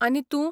आनी तूं?